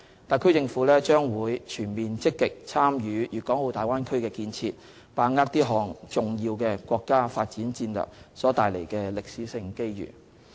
特區政府將全面積極參與大灣區建設，把握這項重要國家發展戰略所帶來的歷史性機遇。